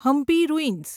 Hampi ruins